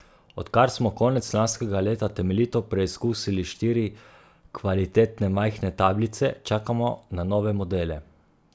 Odkar smo konec lanskega leta temeljito preizkusili štiri kvalitetne majhne tablice, čakamo na nove modele.